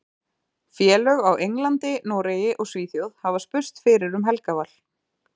Félög á Englandi, Noregi og Svíþjóð hafa spurst fyrir um Helga Val.